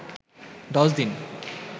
দশ দিন